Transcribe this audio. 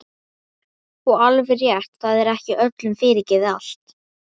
Og alveg rétt, það er ekki öllum fyrirgefið allt.